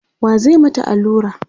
wa zai mata Alura?